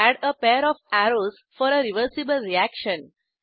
add a pair of arrows for a reversible reaction